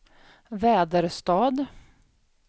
Väderstad